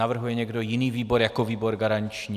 Navrhuje někdo jiný výbor jako výbor garanční?